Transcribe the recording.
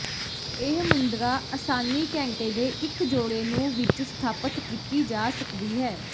ਇਹ ਮੁੰਦਰਾ ਆਸਾਨੀ ਘੰਟੇ ਦੇ ਇੱਕ ਜੋੜੇ ਨੂੰ ਵਿੱਚ ਸਥਾਪਤ ਕੀਤੀ ਜਾ ਸਕਦੀ ਹੈ